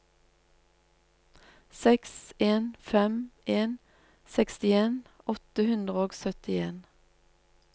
seks en fem en sekstien åtte hundre og syttien